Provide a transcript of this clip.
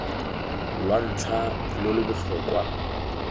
lwa ntlha lo lo botlhokwa